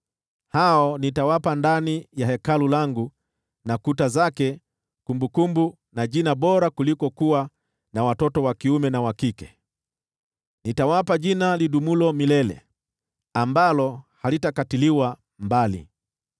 hao nitawapa ndani ya Hekalu langu na kuta zake kumbukumbu na jina bora kuliko kuwa na watoto wa kiume na wa kike: nitawapa jina lidumulo milele, ambalo halitakatiliwa mbali.